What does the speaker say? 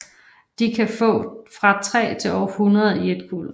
De kan få fra 3 til over hundrede i et kuld